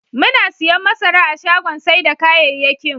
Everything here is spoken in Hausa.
Muna siyan masara a shagon sai da kayayyakin.